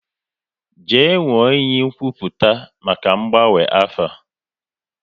Jee nwụọ iyi nkwupụta maka ngbanwe afa!